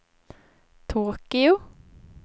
Tokyo